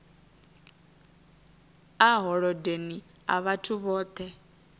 a holodeni a vhathu vhoṱhe